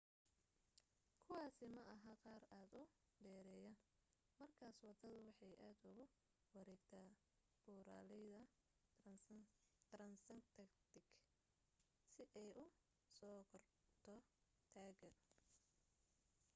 kuwaasi maaha qaar aad u dheereeya markaas waddadu waxay aad ugu wareegtaa buuraleyda transantarctic si ay u soo korto taagga